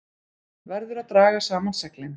Verður að draga saman seglin